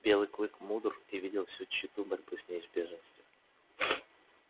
белый клык был мудр и видел всю тщету борьбы с неизбежностью